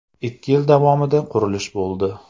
Ikki yil davomida qurilish bo‘ldi.